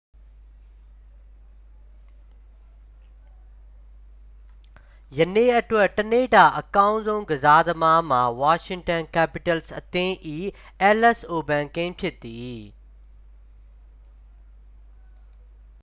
ယနေ့အတွက် တစ်နေ့တာအကောင်းဆုံး ကစားသမားမှာ washington capitals အသင်း၏ အဲလက်စ်အိုဗန်းကင် ဖြစ်သည်